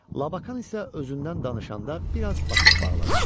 Labakan isə özündən danışanda biraz basıb bağladı.